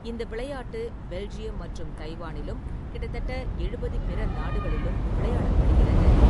இந்த விளையாட்டு பெல்ஜியம் மற்றும் தைவானிலும், கிட்டத்தட்ட எழுபது பிற நாடுகளிலும் விளையாடப்படுகிறது.